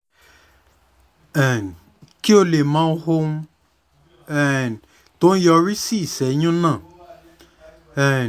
um ki o le mo ohun um ti o yori si iseyun na um